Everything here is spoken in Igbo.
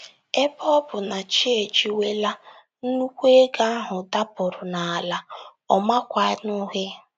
Ebe ọ bụ na chi ejiwela, nnùkwù ego ahụ dapụrụ n’ala, ọ makwanụghị.